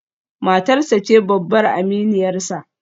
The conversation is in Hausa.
Matarsa ​​ce babbar aminiyarsa